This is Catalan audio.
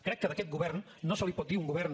crec que a aquest govern no se li pot dir un govern